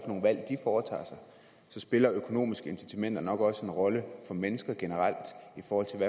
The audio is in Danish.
så spiller økonomiske incitamenter nok også en rolle for mennesker generelt i forhold til